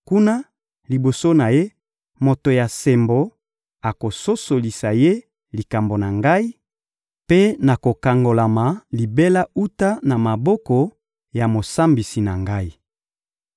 Kuna, liboso na Ye, moto ya sembo akososolisa Ye likambo na ngai, mpe nakokangolama libela wuta na maboko ya mosambisi na ngai.